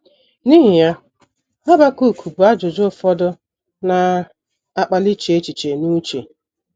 N’ihi ya Habakuk bu ajụjụ ụfọdụ na - akpali iche echiche n’uche.